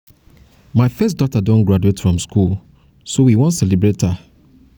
my first daughter don graduate from school so we so we wan celebrate her